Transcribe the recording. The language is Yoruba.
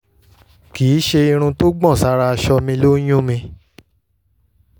kì í ṣe irun tó gbọ̀n sára aṣọ mi ló ń yún mí